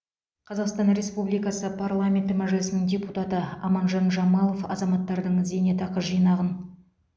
қазақстан республикасы парламенті мәжілісінің депутаты аманжан жамалов азаматтардың зейнетақы жинағын